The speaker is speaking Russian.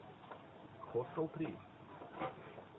хостел три